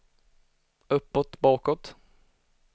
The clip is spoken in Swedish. uppåt bakåt